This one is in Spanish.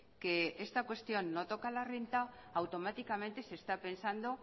que esta cuestión no toca la renta automáticamente se está pensado